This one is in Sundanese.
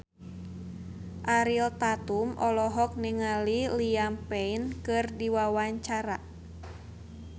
Ariel Tatum olohok ningali Liam Payne keur diwawancara